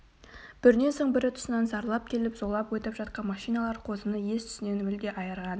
бірінен соң бірі тұсынан зарлап келіп зулап өтіп жатқан машиналар қозыны ес-түсінен мүлде айырған